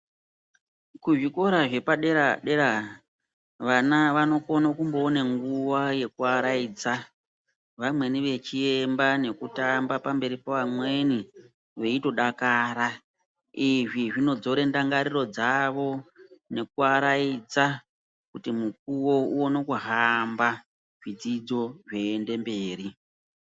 Kuzvikora zvepadera-dera vana vanokone kumboone nguva yekuvaraidza. Vamweni vechiemba nekutamba pamberi pevamweni veitodakara. Izvi zvinodzora ndangariro dzavo nekuaraidza kuti mukuvo uone kuhamba zvidzidzo zviiende mberi.